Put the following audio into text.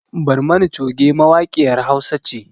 Barmani coge mawaƙiyar hausa ce